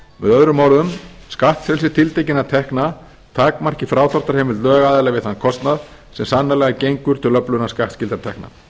öðrum orðum skattfrelsi tiltekinna tekna takmarki frádráttarheimild lögaðila við þann kostnað sem sannarlega gengur til öflunar skattskyldra tekna